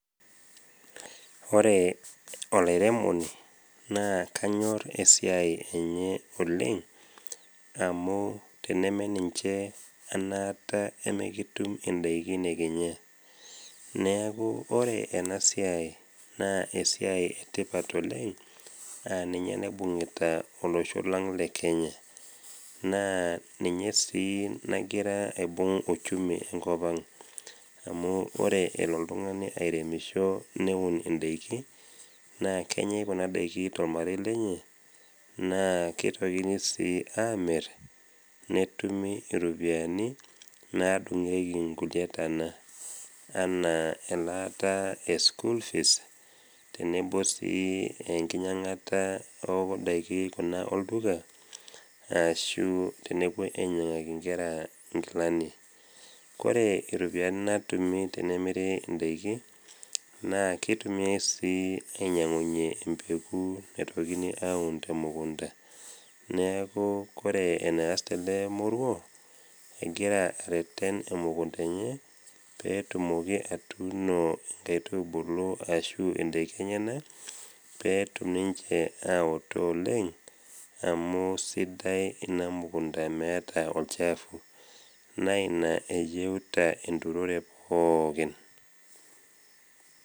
Ore olairemoni, naa kanyor esiai enye oleng' amu teneme ninche anaata emikitum indaiki nekinya. Neaku ore ena siai naa esiai e tipat oleng' a ninye naibung'ita olosho lang' le Kenya. Naa ninye sii nagira aibung' uchumi e nkop ang'. Amu ore elo oltung'ani airemisho neun indaiki, naa kenyai kuna daiki tolmarei lenye, naa keitokini sii amir, netumi iropiani nadung'ieki kulie tana anaa elaata e school fees tenebo sii enkinyang'ata o ndaiki olduka ashu tenepuoi ainyang'aki inkera inkilani. Kore iropiani natumi tene emiri indaiki, naa keitokini sii ainyang'unye embegu naitokini aun te mukunda. Neaku ore eneasita ele moruo, egira areten emukunda enye pee etumoki atuuno inkaitubulu ashu indaiki enyena pee etum ninche aoto oleng' amu meata ina mukunda olchafu. Naa ina eyeuta enturore pookin.